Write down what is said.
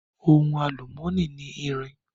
Ohun àlùmọ́nì ni irin.